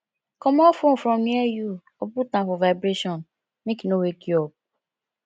comot phone from near you or put am for vibration make e no wake you up